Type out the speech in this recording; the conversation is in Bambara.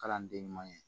Kalanden ɲuman ye